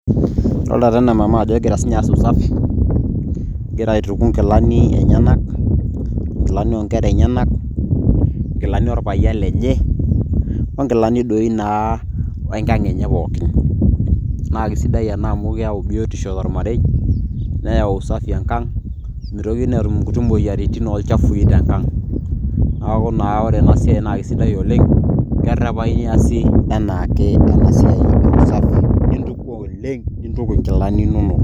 Adolta taa ena mama ajo egira sinye aas usafi ,egira aituku nkilani enyanak, inkilani oonkera enyanak, inkilani orpayian lenye,o nkilani doi naa wenkang' enye pookin. Na kesidai ena amu keeo biotisho tormarei, neyau usafi enkang'. Mitokini atum inkuti moyiaritin olchafui tenkang'. Neeku naa ore enasiai na kesidai oleng',kerrepayu easi enaake enasiai. Entuko oleng' ,nintuku nkilani inonok.